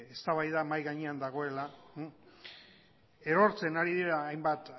eztabaida mahai gainean dagoela erortzen ari dira hainbat